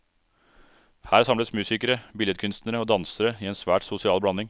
Her samles musikere, billedkunstnere og dansere i en svært sosial blanding.